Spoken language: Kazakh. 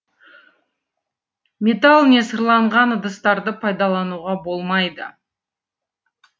металл не сырланған ыдыстарды пайдалануға болмайды